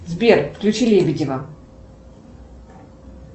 сбер включи лебедева